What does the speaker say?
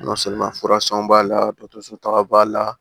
furasan b'a la dɔtɔrɔsotaga b'a la